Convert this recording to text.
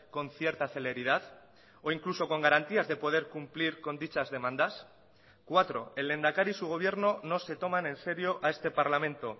con cierta celeridad o incluso con garantías de poder cumplir con dichas demandas cuatro el lehendakari y su gobierno no se toman en serio a este parlamento